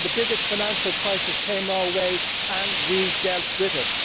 The biggest financial crisis came our way and we dealt with it.